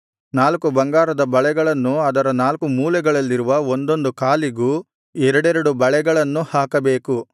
ನಾಲ್ಕು ಬಂಗಾರದ ಬಳೆಗಳನ್ನು ಅದರ ನಾಲ್ಕು ಮೂಲೆಗಳಲ್ಲಿರುವ ಒಂದೊಂದು ಕಾಲಿಗೂ ಎರಡೆರಡು ಬಳೆಗಳನ್ನು ಹಾಕಬೇಕು